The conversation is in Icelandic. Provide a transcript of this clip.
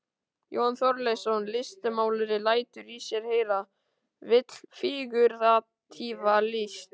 Jón Þorleifsson listmálari lætur í sér heyra, vill fígúratíva list.